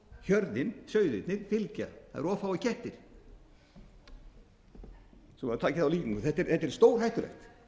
hjörðin sauðirnir fylgja það eru of fáir kettir svo maður taki þá líkingu þetta er stórhættulegt